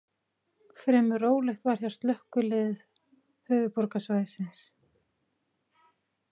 Fremur rólegt var hjá Slökkviliðið höfuðborgarsvæðisins